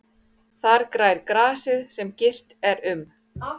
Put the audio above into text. Þar grær grasið sem girt er um.